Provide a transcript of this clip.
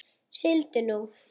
Sigldu nú.